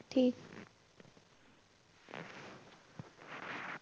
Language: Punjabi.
ਠੀਕ।